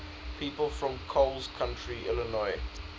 people from coles county illinois